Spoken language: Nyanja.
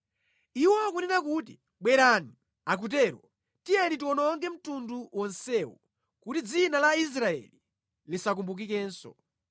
Iwo akunena kuti, “Bwerani” akutero, “Tiyeni tiwononge mtundu wonsewu kuti dzina la Israeli lisakumbukikenso.”